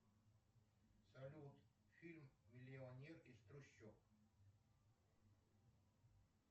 салют фильм миллионер из трущоб